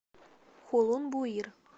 хулун буир